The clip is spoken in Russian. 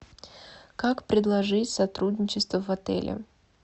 как предложить сотрудничество в отеле